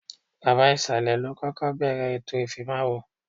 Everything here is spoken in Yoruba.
Baba ìsàlẹ̀ ló kọ́kọ́ bẹ̀ẹ̀rẹ̀ ètò ìfimáwo